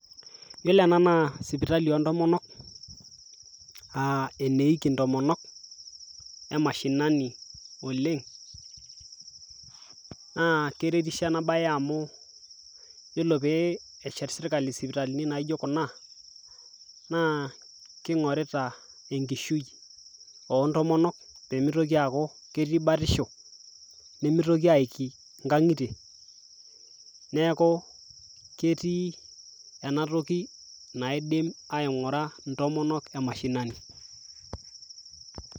Iyiolo ena naa sipitali o ntomonok, aa eneiki ntomonok e mashinani oleng' naa keretisho ena baye amu iyiolo pee eshet sirkali sipitalini naijo kuna naa king'orita enkishui o ntomonok pee mitoki aaku keti batisho nemitoki aiki nkang'itie. Neeku ketii ena toki naidim aing'ura ntomonok e mashinani.